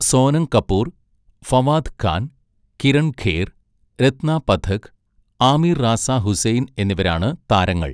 സോനം കപൂർ, ഫവാദ് ഖാൻ, കിരൺ ഖേർ, രത്ന പഥക്, ആമിർ റാസ ഹുസൈൻ എന്നിവരാണ് താരങ്ങൾ.